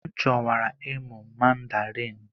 M chọwara ịmụ Mandarin.